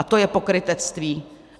A to je pokrytectví.